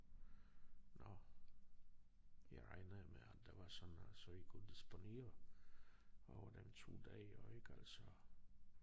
Nåh jeg regnede med at det var sådan så vi kunne disponere over dem 2 dage ik altså